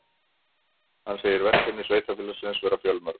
Hann segir verkefni sveitarfélagsins vera fjölmörg